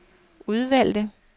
udvalgte